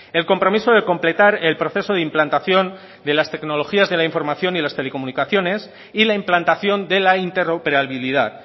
el compromiso de completar el proceso de implantación de las tecnologías de la información y las telecomunicaciones y la implantación de la interoperabilidad